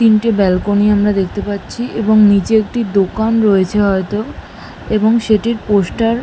তিনটে ব্যালকনি আমরা দেখতে পাচ্ছি এবং নিচে একটি দোকান রয়েছে হয়তো এবং সেটির পোস্টার --